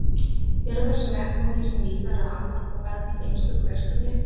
Er á þessum vettvangi sem víðar að afmarka þarf hin einstöku verkefni.